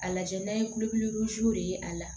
A lajɛ n'a ye kulɛri ye a la